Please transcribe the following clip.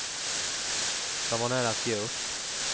De var nära att ge upp.